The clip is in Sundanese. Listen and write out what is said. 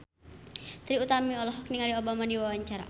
Trie Utami olohok ningali Obama keur diwawancara